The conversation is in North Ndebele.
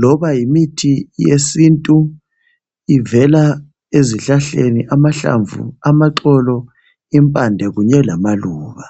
Loba yimithi yesintu, ivela ezihlahleni, amahlamvu, amaxolo imphande kunye lamaluba